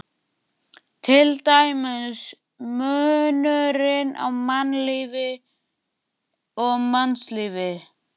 Til dæmis munurinn á mannlífi og mannslífi.